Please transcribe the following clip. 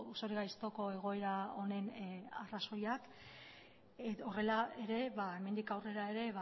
zorigaiztoko egoera honen arrazoiak horrela ere hemendik aurrera ere